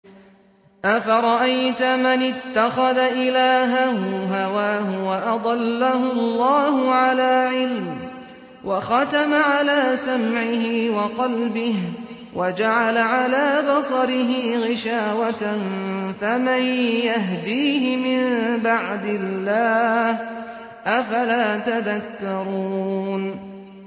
أَفَرَأَيْتَ مَنِ اتَّخَذَ إِلَٰهَهُ هَوَاهُ وَأَضَلَّهُ اللَّهُ عَلَىٰ عِلْمٍ وَخَتَمَ عَلَىٰ سَمْعِهِ وَقَلْبِهِ وَجَعَلَ عَلَىٰ بَصَرِهِ غِشَاوَةً فَمَن يَهْدِيهِ مِن بَعْدِ اللَّهِ ۚ أَفَلَا تَذَكَّرُونَ